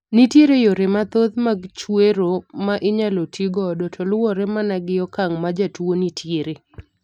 Nitiere yore mathoth mag chwero ma inyalo ti godo to luwore mana gi okang' ma jatuo ni tiere.